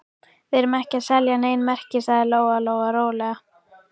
Við erum ekki að selja nein merki, sagði Lóa-Lóa rólega.